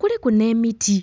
kuliku n'emiti.